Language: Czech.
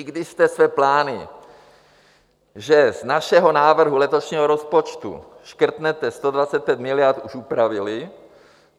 I když jste své plány, že z našeho návrhu letošního rozpočtu škrtnete 125 miliard, už upravili